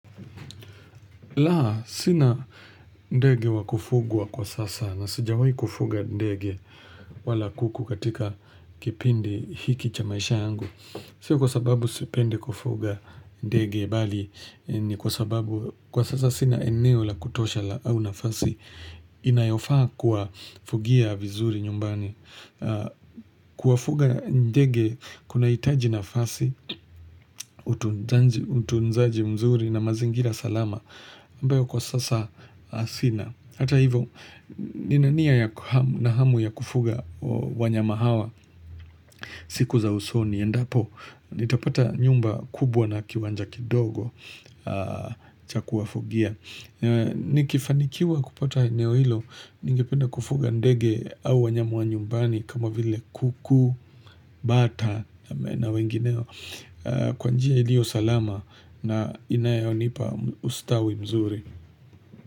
La, sina ndege wa kufugwa kwa sasa na sijawai kufuga ndege wala kuku katika kipindi hiki cha maisha yangu. Sio kwa sababu sipendi kufuga ndege bali ni kwa sababu kwa sasa sina eneo la kutosha la au nafasi inayofaa kwa fugia vizuri nyumbani. Kuwafuga ndege kunahitaji nafasi, utunzaji mzuri na mazingira salama. Ambayo kwa sasa sina Hata hivo, nina nia na hamu ya kufuga wanyama hawa siku za usoni, endapo nitapata nyumba kubwa na kiwanja kidogo cha kuwafugia Nikifanikiwa kupata eneo hilo Ningependa kufuga ndege au wanyama wa nyumbani kama vile kuku, bata na wengineo Kwa njia iliyo salama na inayonipa ustawi mzuri.